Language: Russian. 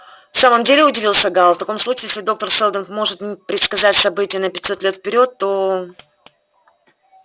в самом деле удивился гаал в таком случае если доктор сэлдон может предсказать события на пятьсот лет вперёд то